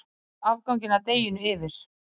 Myljið afganginn af deiginu yfir.